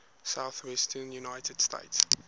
southwestern united states